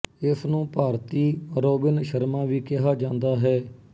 ਇਸਨੂੰ ਭਾਰਤੀ ਰੌਬਿਨ ਸ਼ਰਮਾ ਵੀ ਕਿਹਾ ਜਾਂਦਾ ਹੈ